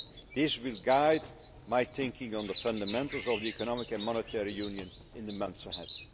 This will guide my thinking on the fundamentals of the Economic and Monetary Union in the months ahead.